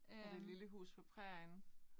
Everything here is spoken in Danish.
Er det lille hus på prærien?